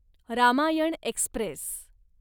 Ramayana Express